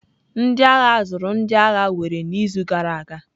Ndị agha ahụ zụrụ ndị agha were n'izu gara aga.